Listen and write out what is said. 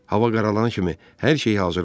Hava qaralan kimi hər şey hazır oldu.